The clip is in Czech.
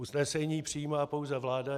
Usnesení přijímá pouze vláda.